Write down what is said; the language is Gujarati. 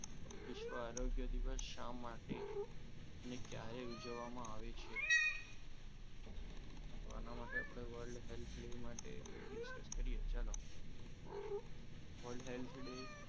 વિશ્વ આરોગ્ય શા માટે ને ક્યારે ઉજવવામાં આવે છે તો આના માટે આપણે world health day માટે discuss કરીએ ચાલો world health day